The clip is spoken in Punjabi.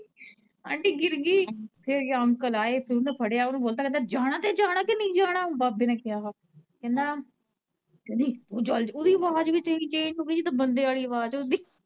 ਆਂਟੀ ਗਿ ਰਗੀ ਫਿਰ ਅੰਕਲ ਆਏ ਤੇ ਕਹਿੰਦੇ ਜਾਣਾ ਤੇ ਜਾਣਾ ਕਿ ਨਹੀਂ ਜਾਣਾ ਬਾਬੇ ਨੇ ਕਿਹਾ ਵਾ, ਕਹਿੰਦਾ, ਕਹਿੰਦੀ ਤੂੰ ਚੱਲਜਾ, ਓਦੀ ਅਵਾਜ ਵੀ ਏਦਾ ਚੇਂਜ ਹੋਗੀ ਹੀ ਜਿਦਾ ਬੰਦਿਆ ਆਲੀ ਅਵਾਜ ਹੁੰਦੀ।